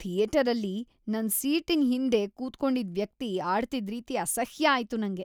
ಥಿಯೇಟರಲ್ಲಿ ನನ್ ಸೀಟಿನ್ ಹಿಂದೆ ಕೂತ್ಕೊಂಡಿದ್ ವ್ಯಕ್ತಿ ಆಡ್ತಿದ್‌ ರೀತಿ ಅಸಹ್ಯ ಆಯ್ತು ನಂಗೆ.